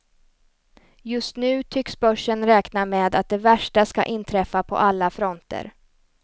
Just nu tycks börsen räkna med att det värsta ska inträffa på alla fronter.